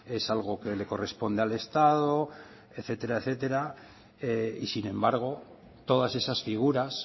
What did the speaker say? es algo que le corresponde al estado etcétera y sin embargo todas esas figuras